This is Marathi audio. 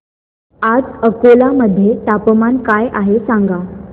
आज अकोला मध्ये तापमान काय आहे सांगा